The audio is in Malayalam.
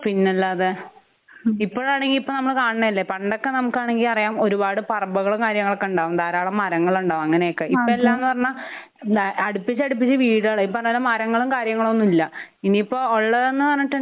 പിന്നല്ലാതെ ഇപ്പോഴാണെങ്കി ഇപ്പൊ നമ്മള് കാണിണതല്ലേ? പണ്ടൊക്കെ നമുക്കാണെങ്കി അറിയാം ഒരുപാട് പറമ്പുകളും കാര്യങ്ങളൊക്കെ ഉണ്ടാവും. ധാരാളം മരങ്ങളുണ്ടാവും. അങ്ങനെയൊക്കെ. ആഹ് അതെ. ഇപ്പൊ എല്ലാംന്ന് പറഞ്ഞാ എന്താ അടുപ്പിച്ചടുപ്പിച്ചു വീടുകളായി. ഇപ്പൊ അന്നേരം മരങ്ങളും കാര്യങ്ങളൊന്നുല്ല.ഇനിയിപ്പോ ഉള്ളതെന്ന് പറഞ്ഞിട്ടുണ്ടെങ്കി